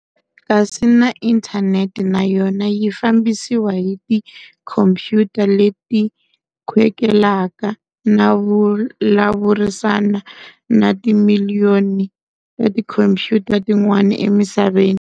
Kasi na Inthaneti nayona yi fambisiwa hi ti khompuyuta leti khwekelaka na vulavurisana na timiliyoni ta tikhompuyuta tin'wana emisaveni.